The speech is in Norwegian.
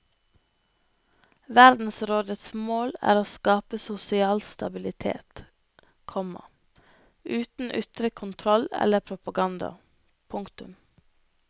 Verdensrådets mål er å skape sosial stabilitet, komma uten ytre kontroll eller propaganda. punktum